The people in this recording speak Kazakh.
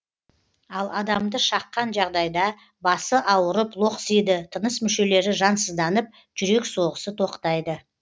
ал адамды шаққан жағдайда басы ауырып лоқсиды тыныс мүшелері жансызданып жүрек соғысы тоқтайды